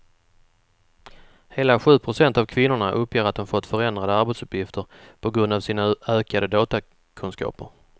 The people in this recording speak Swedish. Hela sju procent av kvinnorna uppger att de fått förändrade arbetsuppgifter på grund av sina ökade datorkunskaper.